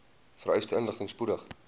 vereiste inligting spoedig